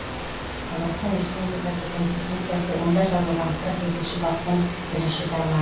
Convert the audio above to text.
қазақстан республикасы конституциясы онда жазылған қырық екінші баптың бірінші тарма